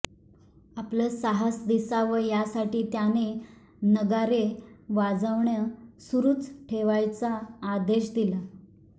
आपलं साहस दिसावं यासाठी त्याने नगारे वाजवणं सुरूच ठेवायचा आदेश दिला